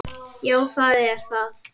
Já, það er það.